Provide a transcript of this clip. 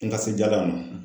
N ka sejalan ma.